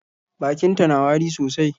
Bakinta na wari sosai.